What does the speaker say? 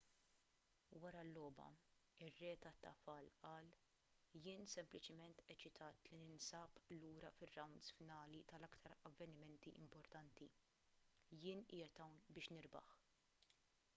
wara l-logħba ir-re tat-tafal qal jien sempliċiment eċitat li ninsab lura fir-rawnds finali tal-aktar avvenimenti importanti jien qiegħed hawn biex nirbaħ